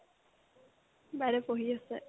বাইদেউয়ে পঢ়ি আছে